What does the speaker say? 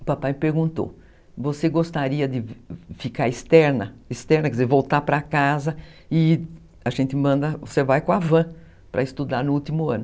O papai me perguntou, você gostaria de ficar externa, externa quer dizer voltar para casa e você vai com a van para estudar no último ano.